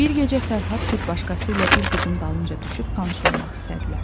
Bir gecə Fərhad bir başqası ilə bir qızın dalınca düşüb tanış olmaq istədilər.